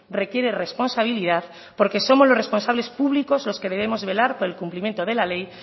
requiere responsabilidad porque somos los responsables públicos los que debemos velar por el cumplimiento de la ley